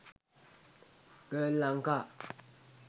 girl lanka